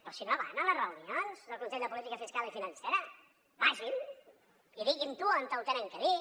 però si no van a les reunions del consell de política fiscal i financera vagin hi i diguin ho on ho han de dir